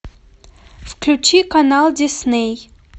включи канал дисней